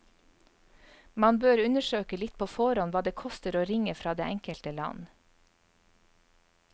Man bør undersøke litt på forhånd hva det koster å ringe fra det enkelte land.